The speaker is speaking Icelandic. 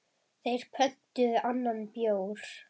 Þeir pöntuðu annan bjór.